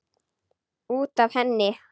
Út af henni!